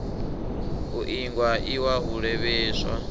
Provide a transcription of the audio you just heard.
u iingwa iwa u lavheieswa